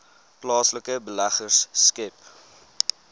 plaaslike beleggers skep